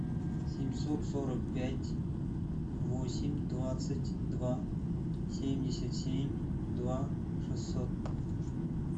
семьсот сорок пять восемь двадцать два семьдесят семь два шестьсот